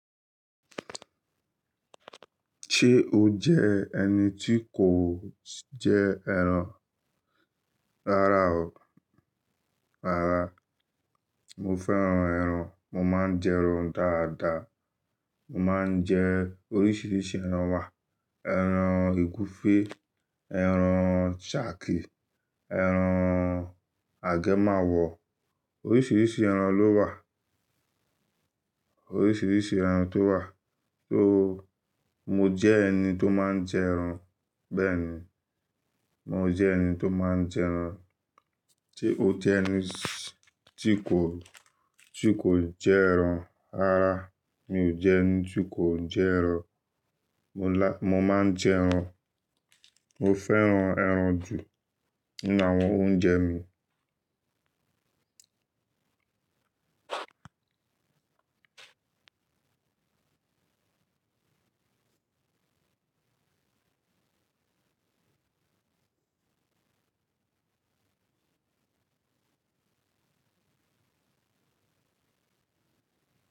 Ṣé o jẹ́ ẹni tí kò jẹ ẹran rárá o, rárá. Mo fẹ́ran ẹran, mo máa ń jẹ ẹran dáadáa. Mo máa ń jẹ oríṣiríṣi ẹran wa, ẹran ègúfé, ẹran ṣàki, ẹran agemawọ, oríṣiríṣi ẹran ló wà, oríṣiríṣi ẹran tó wà. So mo jẹ́ ẹni tó máa ń jẹ ẹran, bẹ́ẹ̀ni. Mo jẹ́ ẹni tó máa ń jẹ ẹran. Ṣé o jẹ́ ẹni tí kò, tí kò jẹ ẹran rárá? Mi ò jẹ́ ẹni tí kò ń jẹ ẹran nla. Mo ma ń jẹ ẹran. Mo fẹ́ran ẹran jù nínú àwọn oúnjẹ mi.